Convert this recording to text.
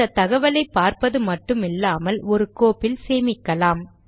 இந்த தகவலை பார்ப்பது மட்டுமில்லாமல் ஒரு கோப்பில் சேமிக்கலாம்